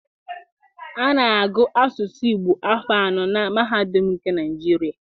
A na-agụ Asụsụ Igbo afọ anọ na mahadụm nke Naịjirịa.